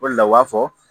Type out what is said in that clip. O de la u b'a fɔ